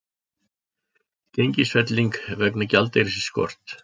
Gengisfelling vegna gjaldeyrisskorts